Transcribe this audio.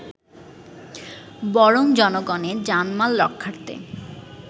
বরং জনগণের জানমাল রক্ষার্থে